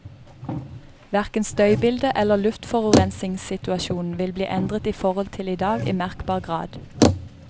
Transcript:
Hverken støybildet eller luftforurensningssituasjonen vil bli endret i forhold til i dag i merkbar grad.